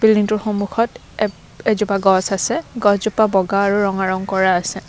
বিল্ডিংটোৰ সন্মুখত এ এজোপা গছ আছে গছ জোপা বগা আৰু ৰঙা ৰং কৰা আছে।